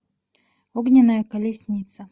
огненная колесница